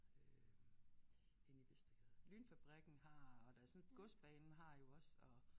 Øh henne i Vestergade LYNfabrikken har og der sådan Godsbanen har jo også og